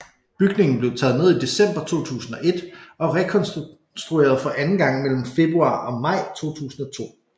Bygningen blev taget ned i december 2001 og rekonstrueret for anden gang mellem februar og maj 2002